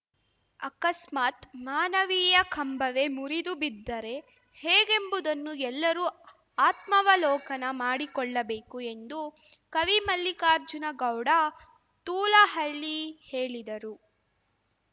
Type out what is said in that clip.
ಆಕಸ್ಮಾತ್‌ ಮಾನವೀಯ ಕಂಬವೇ ಮುರಿದು ಬಿದ್ದರೆ ಹೇಗೆಂಬುದನ್ನು ಎಲ್ಲರೂ ಆತ್ಮಾವಲೋಕನ ಮಾಡಿಕೊಳ್ಳಬೇಕು ಎಂದು ಕವಿ ಮಲ್ಲಿಕಾರ್ಜುನಗೌಡ ತೂಲಹಳ್ಳಿ ಹೇಳಿದರು